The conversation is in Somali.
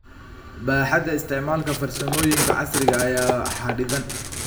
Baaxadda isticmaalka farsamooyinka casriga ah ayaa xaddidan.